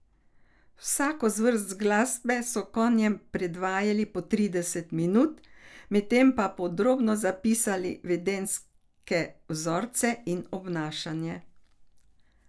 Vsako zvrst glasbe so konjem predvajali po trideset minut, med tem pa podrobno zapisali vedenjske vzorce in obnašanje.